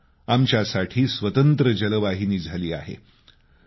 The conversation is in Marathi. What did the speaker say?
आता आमच्यासाठी स्वतंत्र जलवाहिनी झाली आहे